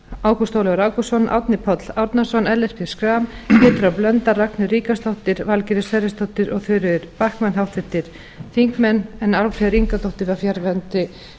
ágúst ólafur ágústsson árni páll árnason ellert b schram pétur h blöndal ragnheiður ríkharðsdóttir valgerður sverrisdóttir og þuríður backman háttvirtir þingmenn álfheiður ingadóttir var fjarverandi